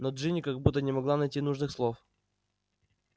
но джинни как будто не могла найти нужных слов